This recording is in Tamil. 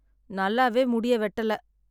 நல்லாவே முடிய வெட்டலை.